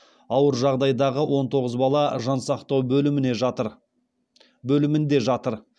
ауыр жағдайдағы он тоғыз бала жансақтау бөлімінде жатыр